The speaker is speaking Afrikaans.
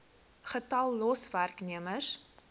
getal los werknemers